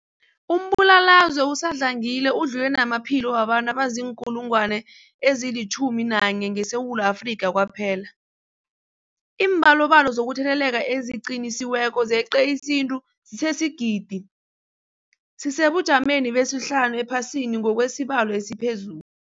Umbulalazwe usadlangile udlule namaphilo wabantu abaziinkulungwana ezi-11 ngeSewula Afrika kwaphela. Iimbalobalo zokutheleleka eziqinisekisiweko zeqe isiquntu sesigidi, sisesebujameni besihlanu ephasini ngokwesibalo esiphezulu.